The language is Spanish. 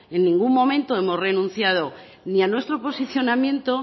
en ningún momento hemos renunciado ni a nuestro posicionamiento